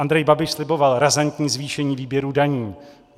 Andrej Babiš slibovat razantní zvýšení výběru daní.